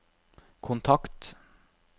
kontakt